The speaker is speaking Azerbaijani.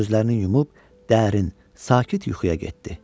Gözlərini yumub dərin, sakit yuxuya getdi.